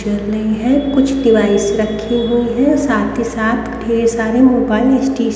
रखे है कुछ डिवाइस रखी हुई है साथ ही साथ ढेर सारे मोबाइल स्टे--